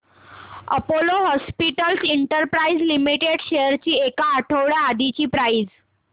Apollo Hospitals Enterprise Limited shares ची एक आठवड्या आधीची प्राइस